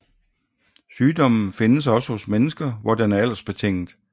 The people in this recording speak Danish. Sygdommen findes også hos mennesker hvor den er aldersbetinget